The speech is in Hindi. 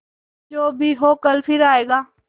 जो भी हो कल फिर आएगा